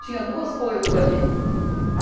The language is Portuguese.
Tinha duas coisas ali.